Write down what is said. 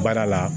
Baara la